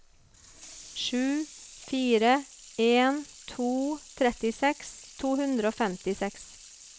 sju fire en to trettiseks to hundre og femtiseks